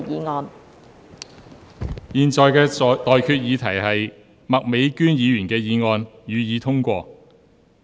我現在向各位提出的待議議題是：麥美娟議員動議的議案，予以通過。